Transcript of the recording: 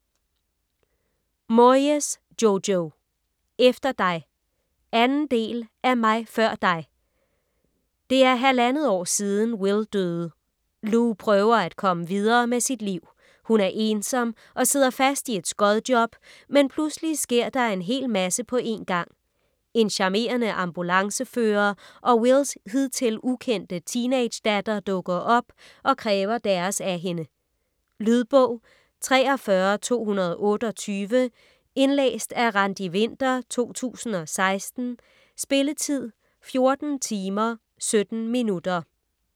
Moyes, Jojo: Efter dig 2. del af Mig før dig. Det er halvandet år siden, Will døde. Lou prøver at komme videre med sit liv. Hun er ensom og sidder fast i et skodjob, men pludselig sker der en hel masse på en gang. En charmerende ambulancefører og Wills hidtil ukendte teenagedatter dukker op og kræver deres af hende. . Lydbog 43228 Indlæst af Randi Winther, 2016. Spilletid: 14 timer, 17 minutter.